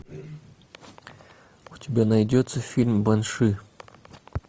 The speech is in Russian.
у тебя найдется фильм банши